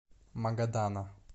магадана